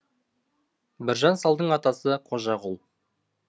біржан салдың атасы қожағұл